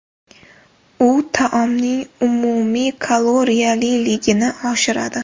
U taomning umumiy kaloriyaliligini oshiradi.